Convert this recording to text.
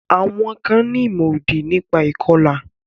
Àwọn kan ní ìmọ̀-òdì nípa ìkọlà.